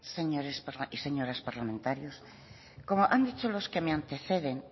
señores y señoras parlamentarias como han dicho los que me anteceden